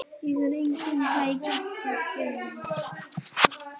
Ég er enginn tækni